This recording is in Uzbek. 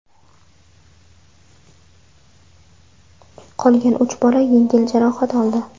Qolgan uch bola yengil jarohat oldi.